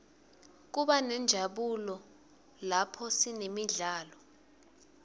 kubanenjabulo laphosinemidlalo